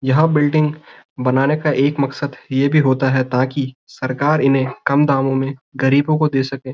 यहाँ बिल्डिंग बनाने का एक मकसद ये भी होता है ताकि सरकार इन्हे कम दामों में गरीबों को दे सके।